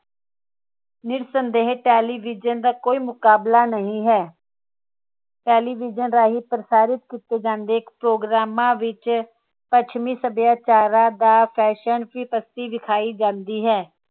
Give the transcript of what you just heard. ਨਿਰਸੰਦੇਹ television ਦਾ ਕੋਈ ਮੁਕਾਬਲਾ ਨਹੀਂ ਹੈ television ਰਾਹੀਂ ਪ੍ਰਸਾਰਿਤ ਕੀਤੇ ਜਾਂਦੇ ਪ੍ਰੋਗਰਾਮਾਂ ਵਿਚ ਪੱਛਮੀ ਸੱਭਿਆਚਾਰਾਂ ਦਾ fashion ਵਿਖਾਈ ਜਾਂਦੀ ਹੈ